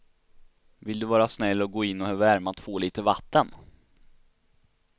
Vill du vara snäll och gå in och värma två liter vatten.